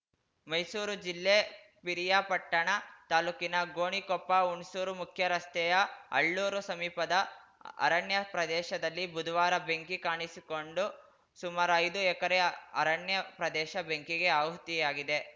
ಮೈಸೂರು ಜಿಲ್ಲೆ ಪಿರಿಯಾಪಟ್ಟಣ ತಾಲೂಕಿನ ಗೋಣಿಕೊಪ್ಪ ಹುಣಸೂರು ಮುಖ್ಯ ರಸ್ತೆಯ ಅಳ್ಳೂರು ಸಮೀಪದ ಅರಣ್ಯ ಪ್ರದೇಶದಲ್ಲಿ ಬುಧವಾರ ಬೆಂಕಿ ಕಾಣಿಸಿಕೊಂಡು ಸುಮಾರು ಐದು ಎಕರೆ ಅರಣ್ಯ ಪ್ರದೇಶ ಬೆಂಕಿಗೆ ಆಹುತಿಯಾಗಿದೆ